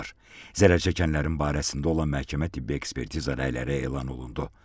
Zərər çəkənlərin barəsində olan məhkəmə-tibbi ekspertiza rəyləri elan olundu.